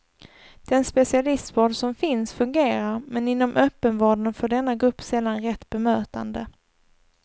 Den specialistvård som finns fungerar, men inom öppenvården får denna grupp sällan rätt bemötande.